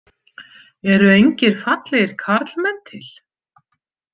Eru engir fallegir karlmenn til?